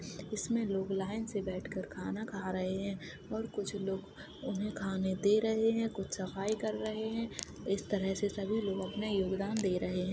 इसमें लोग लाइन से बैठकर खाना खा रहे हैं और कुछ लोग उन्हें खाने दे रहे हैं कुछ सफाई कर रहे हैं। इस तरह से सभी अपना योगदान दे रहे हैं।